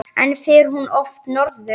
En fer hún oft norður?